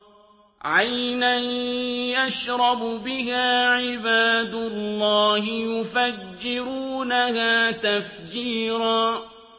عَيْنًا يَشْرَبُ بِهَا عِبَادُ اللَّهِ يُفَجِّرُونَهَا تَفْجِيرًا